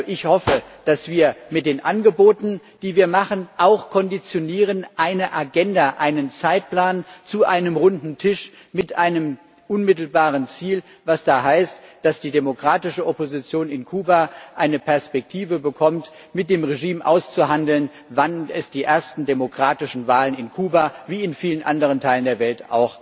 Ich hoffe also, dass wir mit den Angeboten, die wir machen, auch eine Agenda, einen Zeitplan zu einem runden Tisch mit einem unmittelbaren Ziel konditionieren, was da heißt, dass die demokratische Opposition in Kuba eine Perspektive bekommt, mit dem Regime auszuhandeln, wann die ersten demokratischen Wahlen in Kuba wie in vielen anderen Teilen der Welt